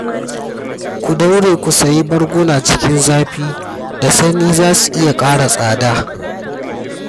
Ku daure ku sayi barguna cikin zafi da sanyi za su iya ƙara tsada